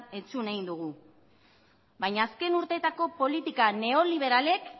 entzun egin dugu baina azken urteetako politika neoliberalek